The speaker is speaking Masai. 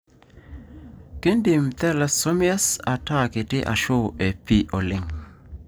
kindim Thelassemias ata kiti ashu epii oleng.